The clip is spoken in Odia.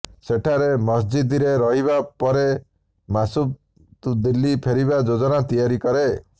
ସେଠାରେ ମସଜିଦରେ ରହିବା ପରେ ମାସୁଦ୍ ଦିଲ୍ଲୀ ଫେରିବା ଯୋଜନା ତିଆରି କରେ